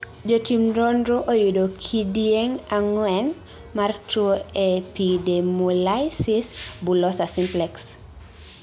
jo tim nonro, oyudo kidieng' ang'uen mar tuo epidemolysis bullosa simplex